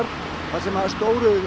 þar sem stóru